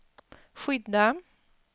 skydda